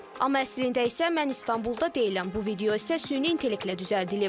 Amma əslində isə mən İstanbulda deyiləm, bu video isə süni intellektlə düzəldilib.